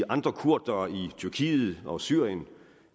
andre kurdere i tyrkiet og syrien